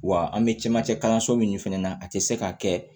Wa an bɛ camancɛ kalanso min fɛnɛ na a tɛ se ka kɛ